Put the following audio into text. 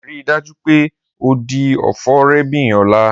Rii daju pe o di ofo rẹ bin ọla!